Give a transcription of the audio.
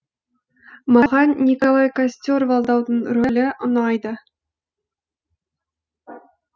маған николай костер валдаудың рөлі ұнайды